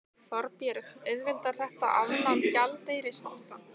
Þorbjörn: Auðveldar þetta afnám gjaldeyrishafta?